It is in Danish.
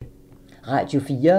Radio 4